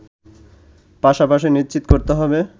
পাশাপাশি নিশ্চিত করতে হবে